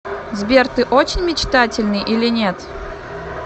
сбер ты очень мечтательный или нет